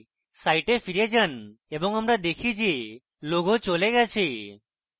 site ফিরে যান এবং আমরা দেখি go logo চলে গেছে